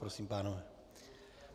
Prosím, pánové.